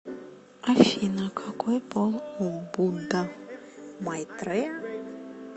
афина какой пол у будда майтрея